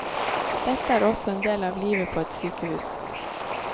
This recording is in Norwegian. Dette er også en del av livet på et sykehus.